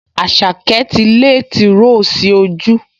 Àṣàkẹ́ ti lé tìróò sí ojú